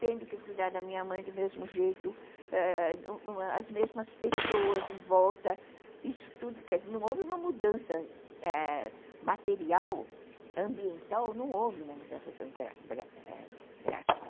tendo que cuidar da minha mãe do mesmo jeito, ãh, as mesmas pessoas em volta, isso tudo, não houve uma mudança material, ãh, ambiental, não houve uma mudança tão drástica.